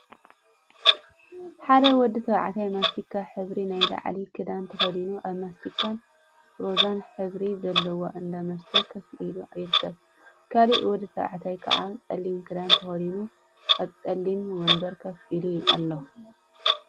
ሓደ ወዲ ተባዕታይ ማስቲካ ሕብሪ ናይ ላዕሊ ክዳን ተከዲኑ ኣብ ማስቲካን ሮዛን ሕብሪ ዘለዎእንዳ መስተ ኮፍ ኢሉ ይርከብ። ካሊእ ወዲ ተባዕታይ ከዓ ጸሊም ክዳን ተከዲኑ ኣብ ጸሊም ወንበር ኮፍ ኢሉ ኣሎ።